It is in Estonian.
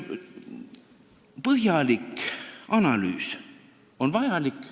Põhjalik analüüs on vajalik.